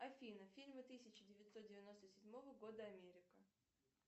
афина фильмы тысяча девятьсот девяносто седьмого года америка